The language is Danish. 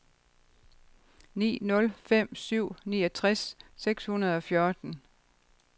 ni nul fem syv niogtres seks hundrede og fjorten